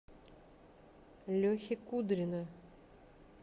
лехи кудрина